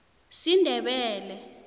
sindebele